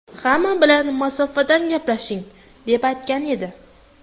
Hamma bilan masofada gaplashing”, deb aytgan edi .